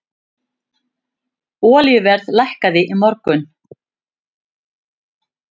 Olíuverð lækkaði í morgun.